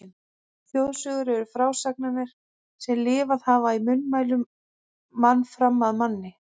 Þjóðsögur eru frásagnir sem lifað hafa í munnmælum mann fram af manni.